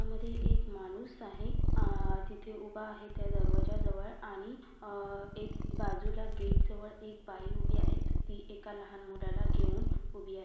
यामधी एक माणूस आहे आह तिथे उभा आहे त्या दरवाज्याजवळ आणि अह एक बाजूला गेट जवळ एक बाई उभी आहे ती एका लहान मुलाला घेऊन उभी आहे.